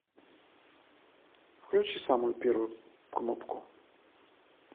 включи самую первую кнопку